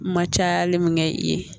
Ma cayali min kɛ i ye